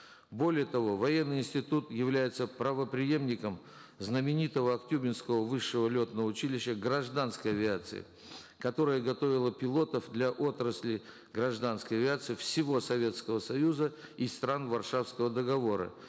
более того военный институт является правопреемником знаменитого актюбинского высшего летного училища гражданской авиации которое готовило пилотов для отраслей гражданской авиации всего советского союза и стран варшавского договора